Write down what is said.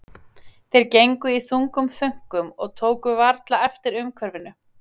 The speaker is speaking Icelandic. Þeir gegnu í þungum þönkum og tóku varla eftir umhverfinu.